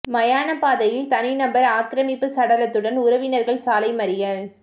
மயான பாதையில் தனி நபர் ஆக்கிரமிப்பு சடலத்துடன் உறவினர்கள் சாலை மறியல்